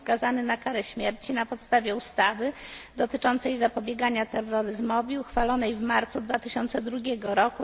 i skazany na karę śmierci na podstawie ustawy dotyczącej zapobiegania terroryzmowi, uchwalonej w marcu 2002 r.,